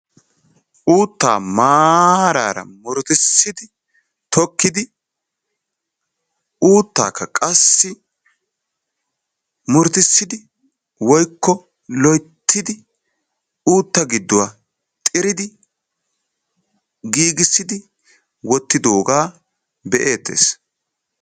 Uuttaa maarara murutussidi tokkidi uuttaakka qassi murutussidi woykko loyttidi uutta gidduwaa giigissidi xiridi wottidoogaa be'eettees.